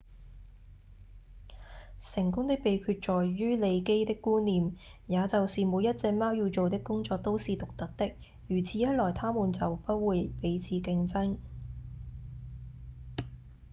成功的秘訣在於利基的觀念也就是每一隻貓要做的工作都是獨特的如此一來牠們就不會彼此競爭